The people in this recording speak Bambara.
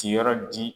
Ti yɔrɔ di